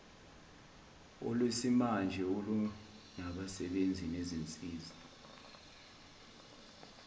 olwesimanje olunabasebenzi nezinsiza